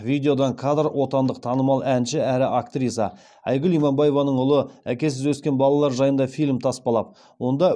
видеодан кадр отандық танымал әнші әрі актриса айгүл иманбаеваның ұлы әкесіз өскен балалар жайында фильм таспалап онда